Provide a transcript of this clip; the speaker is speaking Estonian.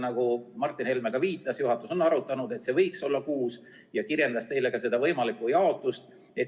Nagu Martin Helme viitas, juhatus on arutanud, et see arv võiks olla kuus, ja ta kirjeldas teile ka võimalikku jaotust.